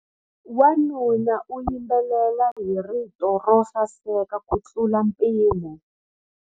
Wanuna u yimbelela hi rito ro saseka kutlula mpimo.